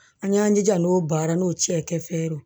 An y'an jija n'o baara n'o cɛ kɛ fe ye